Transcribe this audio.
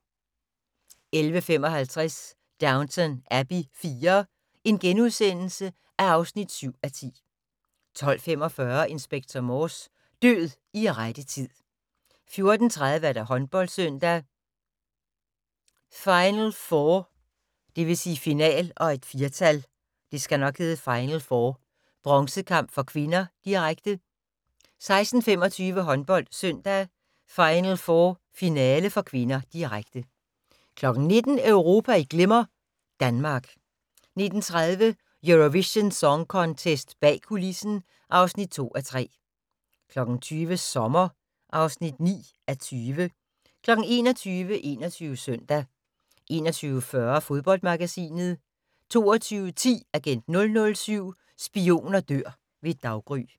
11:55: Downton Abbey IV (7:10)* 12:45: Inspector Morse: Død i rette tid 14:30: HåndboldSøndag: Final4 bronzekamp (k), direkte 16:25: HåndboldSøndag: Final4 finale (k), direkte 19:00: Europa i Glimmer - Danmark 19:30: Eurovision Song Contest - bag kulissen (2:3) 20:00: Sommer (9:20) 21:00: 21 Søndag 21:40: Fodboldmagasinet 22:10: Agent 007 - Spioner dør ved daggry